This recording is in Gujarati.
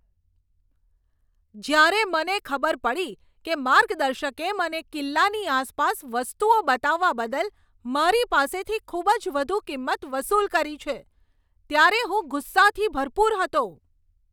જ્યારે મને ખબર પડી કે માર્ગદર્શકે મને કિલ્લાની આસપાસ વસ્તુઓ બતાવવા બદલ મારી પાસેથી ખૂબ જ વધુ કિંમત વસૂલ કરી છે, ત્યારે હું ગુસ્સાથી ભરપૂર હતો.